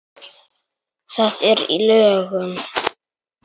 Það er í lögum.